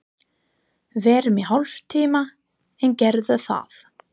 Verum í hálftíma enn, gerðu það.